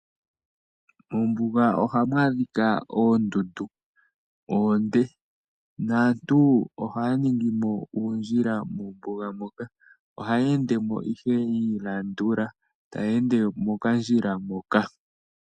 Moombuga ohamu adhikwa oondundu oonde naantu ohaya ningimo uundjila moombuga moka. Ohaya ende mo ihe yiilandula taye ende mokandjila moka.